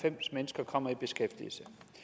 lahn jensen